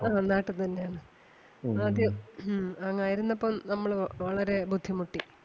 അതെ നാട്ടിതന്നെയാണ് ആദ്യം ഹും അങ്ങ് ആരുന്നപ്പം നമ്മള് വളരേ ബുദ്ധിമുട്ടി.